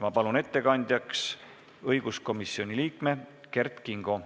Ma palun ettekandjaks õiguskomisjoni liikme Kert Kingo.